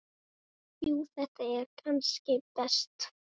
Jú þetta er kannski best.